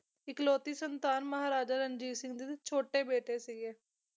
ਇਕਲੌਤੀ ਸੰਤਾਨ ਮਹਾਰਾਜਾ ਰਣਜੀਤ ਸਿੰਘ ਦੀ ਛੋਟੇ ਬੇਟੇ ਸੀ ਗੇ